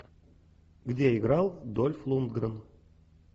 где играл дольф лундгрен